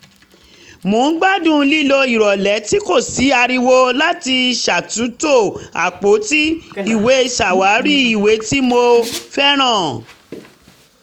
mo ń gbádùn lílo ìrọ̀lẹ́ tí kò sí ariwo láti ṣàtúntò àpótí ìwé ṣàwárí ìwé tí mo fẹ́ràn